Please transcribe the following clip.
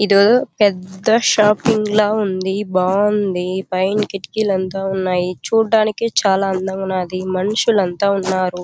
ఏదో ఒక పెద్ద షాపింగ్ లాగా ఉంది. బాగుంది పైన కిటికీలు అంతా ఉన్నాయి. చూడడానికి చాలా అందంగా ఉన్నది. మనుషులు అంతా ఉన్నారు.